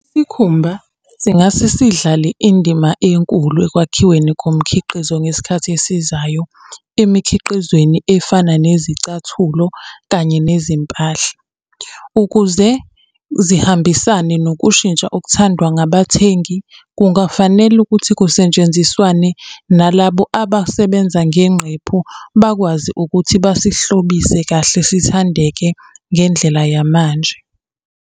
Isikhumba singase sidlale indima enkulu ekwakhiweni komkhiqizo ngesikhathi esizayo emikhiqizweni efana nezicathulo kanye nezimpahla. Ukuze zihambisane nokushintsha okuthandwa ngabathengi kungafanele ukuthi kusetshenziswane nalabo abasebenza ngengqephu, bakwazi ukuthi basihlobise kahle sithandeke ngendlela yamanje.